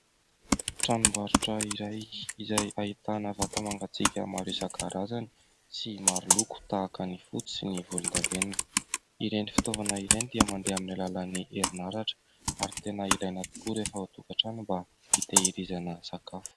Tranombarotra iray izay ahitana vata mangatsiaka maro isan-karazany sy maro loko, tahaka ny fotsy sy ny volondavenona. Ireny fitaovana ireny dia mandeha amin'ny alalan'ny herinaratra ary tena ilaina tokoa rehefa ao an-tokantrano mba hitahirizana sakafo.